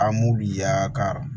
A m'u ya ka